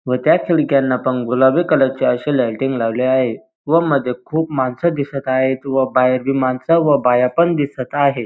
व त्या खिडक्यांना पण गुलाबी कलरचे अशी लायटिंग लावले आहे व मध्ये खूप माणस दिसत आहेत व बाहेर बी मानस व बाया पण दिसत आहेत.